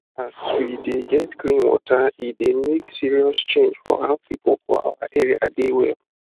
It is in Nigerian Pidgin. as we de get clean water e dey make serious change for how people for our area dey well